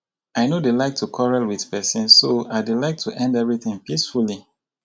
i no dey like to quarrel with person so i dey like to end everything peacefully